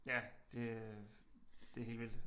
Ja det øh det helt vildt